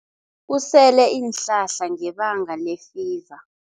Usele iinhlahla ngebanga lefiva.